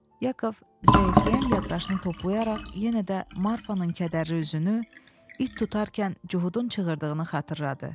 Yakov zəifləyən yaddaşını toplayaraq yenə də Marfanın kədərli üzünü it tutarkən Cudun çığırdığını xatırladı.